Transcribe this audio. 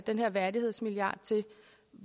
den her værdighedsmilliard til